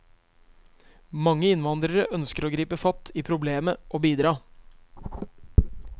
Mange innvandrere ønsker å gripe fatt i problemet og bidra.